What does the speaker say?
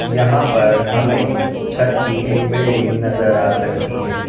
यहां पर हमें छत की एक बिल्डिंग नजर आ सकती है।